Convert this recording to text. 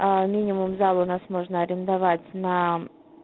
а минимум зал у нас можно арендовать на